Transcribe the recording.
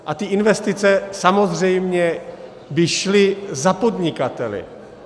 A ty investice samozřejmě by šly za podnikateli.